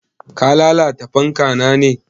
Ka lalata fanka na ne?